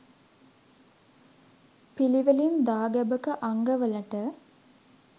පිළිවෙලින් දාගැබක අංගවලට